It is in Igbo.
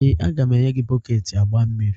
Ee, a ga m enye gị bọket agba mmiri